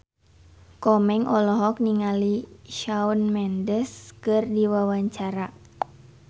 Komeng olohok ningali Shawn Mendes keur diwawancara